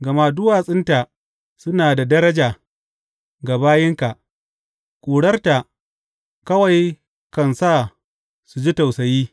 Gama duwatsunta suna da daraja ga bayinka; ƙurarta kawai kan sa su ji tausayi.